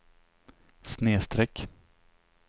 snedsträck